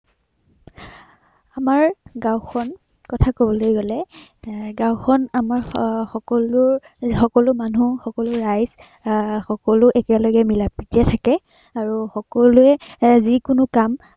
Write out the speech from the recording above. আমাৰ গাওঁখন কথা কবলৈ গলে এৰ গাওঁখন আমাৰ আহ সকলো সকলো মানুহ, সকলো ৰাইজ আহ সকলো একেলগে মিলাপ্ৰীতিৰে থাকে আৰু সকলোৱে যি কোনো কাম